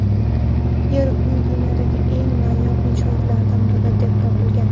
Yer-uy dunyodagi eng noyob inshootlardan biri deb topilgan.